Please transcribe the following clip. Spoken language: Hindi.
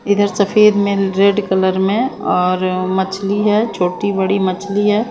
इधर सफेद में रेड कलर में और मछली है छोटी बड़ी मछली है।